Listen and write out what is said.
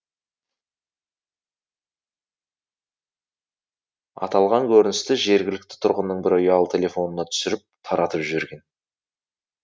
аталған көріністі жергілікті тұрғынның бірі ұялы телефонына түсіріп таратып жіберген